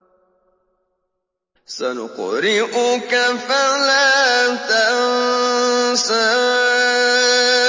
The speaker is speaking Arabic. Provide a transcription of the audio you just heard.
سَنُقْرِئُكَ فَلَا تَنسَىٰ